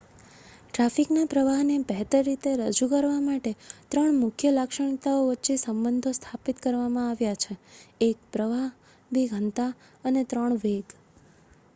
ટ્રાફિકના પ્રવાહને બહેતર રીતે રજૂ કરવા માટે ત્રણ મુખ્ય લાક્ષણિકતાઓ વચ્ચે સંબંધો સ્થાપિત કરવામાં આવ્યા છે: 1 પ્રવાહ 2 ઘનતા અને 3 વેગ